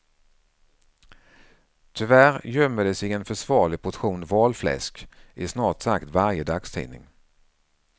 Tyvärr gömmer det sig en försvarlig portion valfläsk i snart sagt varje dagstidning.